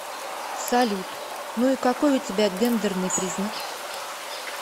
салют ну и какой у тебя гендерный признак